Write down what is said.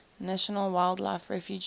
national wildlife refuge